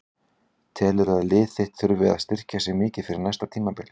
Telurðu að lið þitt þurfi að styrkja sig mikið fyrir næsta tímabil?